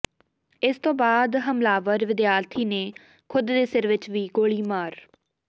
ਇਸ ਤੋਂ ਬਾਅਦ ਹਮਲਾਵਰ ਵਿਦਿਆਰਥੀ ਨੇ ਖ਼ੁਦ ਦੇ ਸਿਰ ਵਿੱਚ ਵੀ ਗੋਲੀ ਮਾਰ